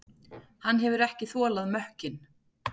Hann hefur ekki þolað mökkinn.